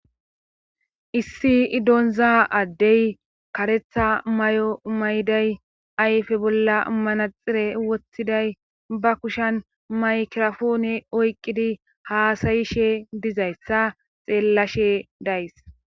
issi donza addey karetha may7o mayday ayfe bolla manaxire wothiday ba kushan maykirafone oyqqidi haasayishe dizayssa xeellashe days